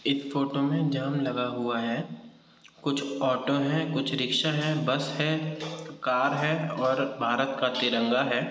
एक फ़ोटो में जाम लगा हुवा है कुछ ओटो है कुछ रिक्शा है बस है एक कार है और भारत का तिरंगा है।